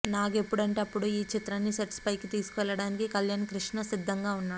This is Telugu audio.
నాగ్ ఎప్పుడంటే అప్పుడు ఈ చిత్రాన్ని సెట్స్ పైకి తీసుకువెళ్ళడానికి కళ్యాణ్ కృష్ణ సిద్ధంగా ఉన్నాడు